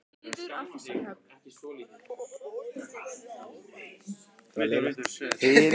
Ég tók ekki afleiðingum af ást minni.